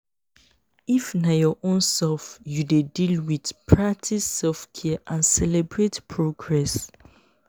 if na your own self you dey deal with practice selfcare and celebrate progress